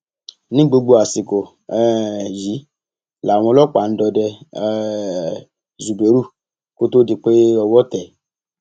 ní gbogbo àsìkò um yìí làwọn ọlọpàá ń dọdẹ um zubérù kó tóó di pé owó tẹ ẹ